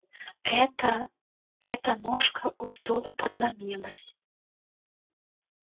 эта эта ножка у стула подломилась